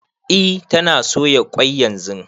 E tana soya ƙwai yanzu